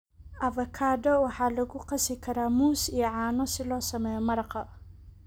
Avocado waxaa lagu qasi karaa muus iyo caano si loo sameeyo maraqa.